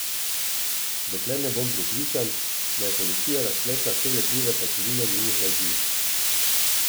Dokler ne bom prepričan, da je policija razpletla vse lepljive pajčevine njenih laži.